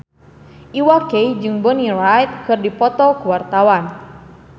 Iwa K jeung Bonnie Wright keur dipoto ku wartawan